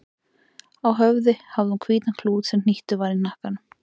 Á höfði hafði hún hvítan klút sem hnýttur var í hnakkanum.